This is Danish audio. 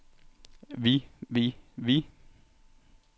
vi vi vi